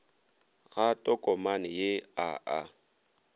ga tokomane ye a a